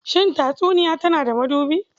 Shin tatsuniya tana da mabuɗi?